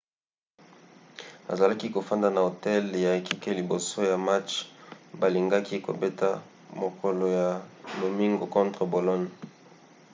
azalaki kofanda na hotel ya ekipe liboso ya match balingaki kobeta mokolo ya lomingo contre bologne